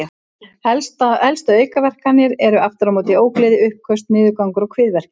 Helstu aukaverkanir eru aftur á móti ógleði, uppköst, niðurgangur og kviðverkir.